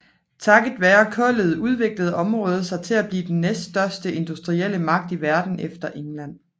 Takket være kullet udviklede området sig til at blive den næststørste industrielle magt i verden efter England